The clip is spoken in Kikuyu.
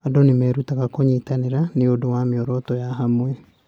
Andũ nĩ merutaga kũnyitanĩra nĩ ũndũ wa mĩoroto ya hamwe.